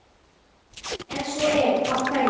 Ef svo er, af hverju?